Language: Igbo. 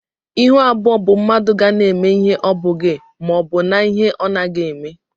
Ịhụ abụọ bụ mmadụ ga na eme ihe ọbughi maọbu na-ihe ọnaghi eme.